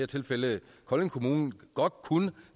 tilfælde kolding kommune godt kunne